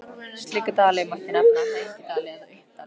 Slíka dali mætti nefna hengidali eða uppdali.